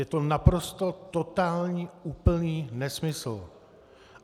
Je to naprosto totální úplný nesmysl.